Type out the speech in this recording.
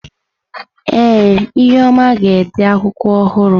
Ee, ihuoma ga-ede akwụkwọ ọhụrụ.